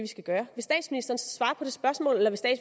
skal gøre vil statsministeren så svare på det spørgsmål eller